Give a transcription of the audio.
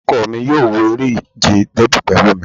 Ọkọ mi yóò wo eré ìje Dẹ́bì pẹ̀lú mi